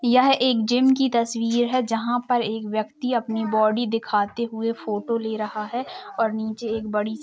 यह एक जिम की तस्वीर है जहाँ पर एक व्यक्ति अपनी बॉडी दिखाते हुए फोटो ले रहा है और नीचे एक बड़ी --